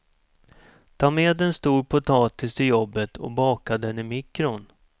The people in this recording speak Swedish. Ta med en stor potatis till jobbet och baka den i mikron.